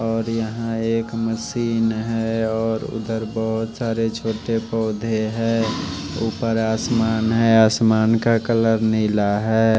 और यहां एक मशीन है और उधर बहोत सारे छोटे पौधे हैं ऊपर आसमान है आसमान का कलर नीला है।